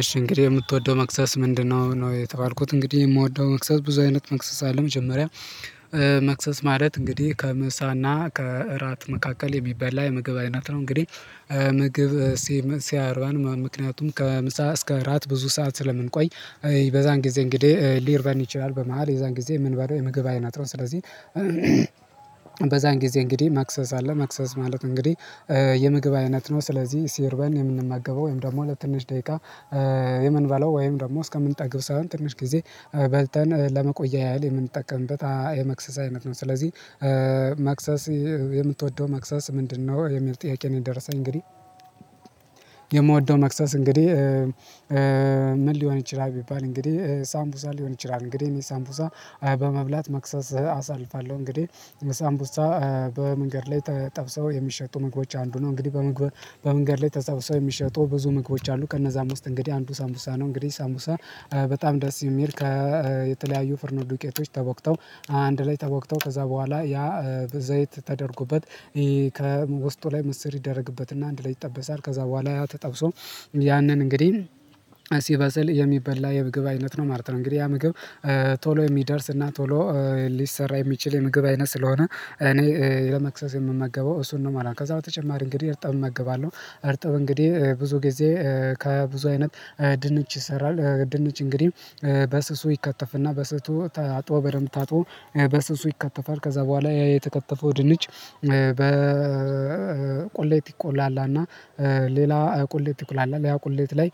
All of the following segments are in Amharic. እሺ እንግዲህ የምትወደው መክሰስ ምንድነው ነው? የተባልኩት እንግዲህ የምወደው መክሰስ ብዙ አይነት መክሰስ አለ መጀመሪያ መክሰስ ማለት እንግዲህ ከምሳና ከእራት መካከል የሚባል ላይ ምግብ አይነት ነው፤ እንግዲህ ምግብ ሲርበን ምክንያቱም ከምሳ እስከ እራት ብዙ ሰዓት ስለምንቆይ በዛን ጊዜ እንግዲህ ሊርበን ይችላል በመሃል የዛን ጊዜ የምንበላው የምግብ አይነት ነው። ስለዚህ በዛን ጊዜ እንግዲህ መክሰስ አለ ማክሰስ ማለት እንግዲህ የምግብ አይነት ነው። ስለዚህ ሲርበን የምንመገበው ወይም ደግሞ ለትንሽ ደቂቃ የምንባለው ወይም ደግሞ እስከምንጠግብ ሳይሆን ትንሽ ጊዜ በልተን ለመቆያ ያህል የምንጠቀምበት የመክሰስ አይነት ነው። ስለዚህ መክሰስ የምትወደው መክሰስ ምንድነው የሚል ጥያቄ ነው? የደረሰኝ እንግዲህ የምወደው ማክሰስ እንግዲህ ምን ሊሆን ይችላል ቢባል እንግዲህ ሳምቡሳ ሊሆን ይችላል። እንግዲህ ሳምቡሳ በመብላት መክሰስ አሳልፋለሁ እንግዲህ ሳምቡሳ በመንገድ ላይ ተጠብሰው የሚሸጡ ምግቦች አንዱ ነው። እንግዲህ በመንገድ ላይ ተሰብሰበው የሚሸጡ ብዙ ምግቦች አሉ ከእነዛም ውስጥ እንግዲህ አንዱ ሳምቡሳ ነው። እንግዲህ ሳምቡሳ በጣም ደስ የሚል ከየተለያዩ ፍርኖ ዱቄቶች ተቦክተው አንድ ላይ ተቦክተው ከዛ በኋላ ያ ዘይት ተደርጎበት ከውስጡ ላይ ምስር ይደረግበትና አንድ ላይ ይጠበሳል ከዛ በኋላ ያ ተጠብሶ ያንን እንግዲህ ሲበሰል የሚበላ የምግብ አይነት ነው ማለት ነው። እንግዲህ ያ ምግብ ቶሎ የሚደርስ እና ቶሎ ሊሰራ የሚችል የምግብ አይነት ስለሆነ እኔ ለመክሰስ የምመገበው እሱን ነው ማለት ነው። ከዛ በተጨማሪ እንግዲህ እርጥብ እመገባለሁ እርጥብ እንግዲህ ብዙ ጊዜ ከብዙ አይነት ድንች ይሰራል ድንች እንግዲህ በስሱ ይከተፍና በስሱ ታጥቦ በደንብ ታጥቦ በስሱ ይከተፋል። ከዛ በኋላ ያ የተከተፈው ድንች በቁሌት ይቆላላና ሌላ ቁሌት ይቆላላል ያ ቁሌት ላይ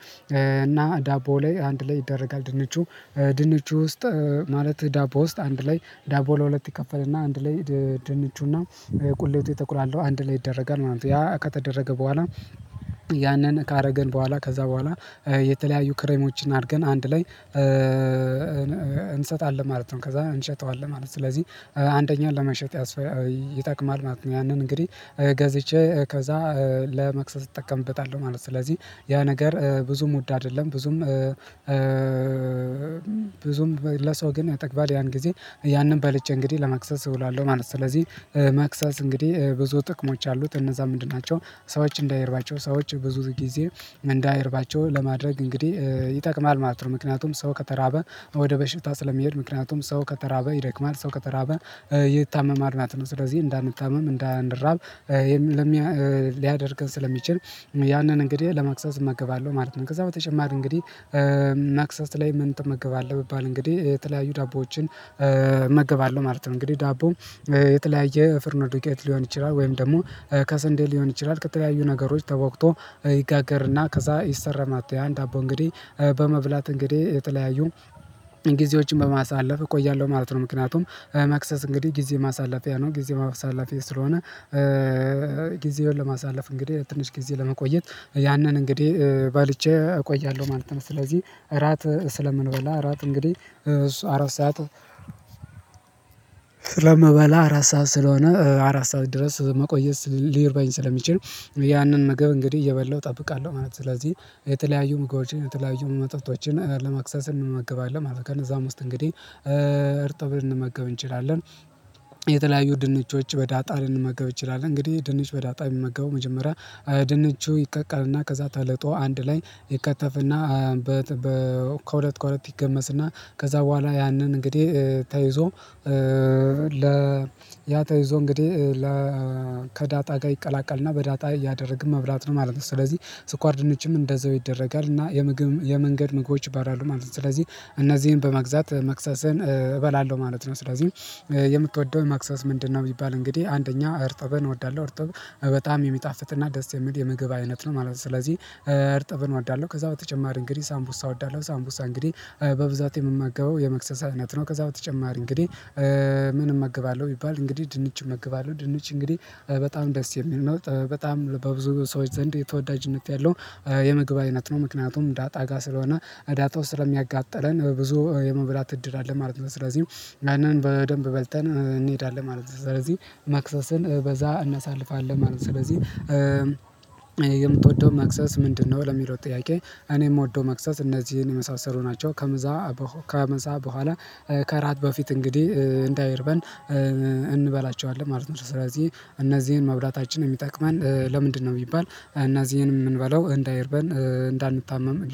እና ዳቦ ላይ አንድ ላይ ይደረጋል ድንቹ ድንቹ ውስጥ ማለት ዳቦ ውስጥ አንድ ላይ ዳቦ ለሁለት ይከፈልና አንድ ላይ ድንቹና ቁሌቱ የተቁላላው አንድ ላይ ይደረጋል ማለት ነው። ያ ከተደረገ በኋላ ያንን ካደረገን በኋላ ከዛ በኋላ የተለያዩ ክሬሞችን አድርገን አንድ ላይ እንሰጣለን ማለት ነው። ከዛ እንሸጠዋለን ማለት ነው። ስለዚህ አንደኛውን ለመሸጥ ይጠቅማል ማለት ነው ያንን እንግዲህ ገዝቼ ከዛ ለመክሰስ እጠቀምበታለሁ ማለት ነው። ስለዚህ ያ ነገር ብዙም ውድ አይደለም ብዙም ብዙም ለሰው ግን ያጠግባል ያን ጊዜ ያንን በልቸእንግዲህ ለማክሰስ እውላለሁ ማለት ነው። ስለዚህ ማክሰስ እንግዲህ ብዙ ጥቅሞች አሉት። እነዛ ምንድን ናቸው? ሰዎች እንዳይርባቸው ሰዎች ብዙ ጊዜ እንዳይርባቸው ለማድረግ እንግዲህ ይጠቅማል ማለት ነው። ምክንያቱም ሰው ከተራበ ወደ በሽታ ስለሚሄድ ምክንያቱም ሰው ከተራበ ይደክማል ሰው ከተራበ ይታመማል ማለት ነው። ስለዚህ እንዳንታመም እንዳንራብ ሊያደርገን ስለሚችል ያንን እንግዲህ ለማክሰስ እመገባለሁ ማለት ነው። ከዛ በተጨማር እንግዲህ ማክሰስ ላይ ምን ትመገባለህ ብባል እንግዲህ የተለያዩ ዳቦዎችን እመገባለሁ ማለት ነው። እንግዲህ ዳቦ የተለያየ ፍርኖ ዱቄት ሊሆን ይችላል ወይም ደግሞ ከሰንዴ ሊሆን ይችላል ከተለያዩ ነገሮች ተቦክቶ ይጋገርና ከዛ ይሰረማታል አንድ ዳቦ እንግዲህ በመብላት እንግዲህ የተለያዩ ጊዜዎችን በማሳለፍ እቆያለሁ ማለት ነው። ምክንያቱም መክሰስ እንግዲህ ጊዜ ማሳለፊያ ነው ጊዜ ማሳለፊያ ስለሆነ ጊዜውን ለማሳለፍ እንግዲህ ትንሽ ጊዜ ለመቆየት ያንን እንግዲህ በልቼ እቆያለሁ ማለት ነው። ስለዚህ እራት ስለምንበላ እራት እንግዲህ እሱ አራት ሰዓት ስለምበላ አራት ሰዓት ስለሆነ አራት ሰዓት ድረስ መቆየት ሊርበኝ ስለሚችል ያንን ምግብ እንግዲህ እየበላሁ እጠብቃለሁ ማለት ነው ስለዚህ የተለያዩ ምግቦዎችን የተለያዩ መጠጦችን ለመክሰስ እንመገባለን ማለት ነው። ከነዛም ውስጥ እንግዲህ እርጥብ ልንመገብ እንችላለን። የተለያዩ ድንችዎች በዳጣ ልንመገብ እንችላለን እንግዲህ ድንች በዳጣ የምመገበው መጀመሪያ ድንቹ ይቀቀልና ከዛ ተልጦ አንድ ላይ ይከተፍና ከሁለት ከሁለት ይገመስና ከዛ በኋላ ያንን እንግዲህ ተይዞ ለ ያ ተይዞ እንግዲህ ከዳጣ ጋር ይቀላቀልና በዳጣ እያደረግን መብላት ነው ማለት ነው። ስለዚህ ስኳር ድንችም እንደዛው ይደረጋል እና የምግብ የመንገድ ምግቦች ይባላሉ ማለት ነው። ስለዚህ እነዚህን በመግዛት መክሰሰን እበላለሁ ማለት ነው። ስለዚህ የምትወደውን መክሰስ ምንድነው? የሚባል እንግዲህ አንደኛ እርጥበን እወዳለሁ እርጥብ በጣም የሚጣፍጥና ደስ የሚል የምግብ አይነት ነው ማለት ነው። ስለዚህ እርጥብን እወዳለሁ ከዛ በተጨማሪ እንግዲህ ሳምቡሳ እወዳለሁ ሳምቡሳ እንግዲህ በብዛት የምመገበው የመክሰሳ አይነት ነው። ከዛ በተጨማሪ እንግዲህ ምንም እመግባለሁ ቢባል እንግዲህ ድንችም እመግባለሁ ድንች እንግዲህ በጣም ደስ የሚል ነው በጣም በብዙ ሰዎች ዘንድ የተወዳጅነት ያለው የምግብ አይነት ነው። ምክንያቱም ዳጣ ጋር ስለሆነ አዳጣው ስለሚያጋጥለን ብዙ የመብላት እድል አለን ማለት ነው። ስለዚህ ያንን በደንብ በልተን እንሄዳለን ማለት ነው። ስለዚህ መክሰስን በዛ እናሳልፋለን ማለት ነው። ስለዚህ የምትወደው መክሰስ ምንድነው? ለሚለው ጥያቄ እኔ የምወደው መክሰስ እነዚህን የመሳሰሉ ናቸው። ከምሳ በኋላ ከእራት በፊት እንግዲህ እንዳይርበን እንበላቸዋለን ማለት ነው። ስለዚህ እነዚህን መብላታችን የሚጠቅመን ለምንድነው ቢባል እና እዚህንም የምንበለው እንዳይርበን እንዳንታመም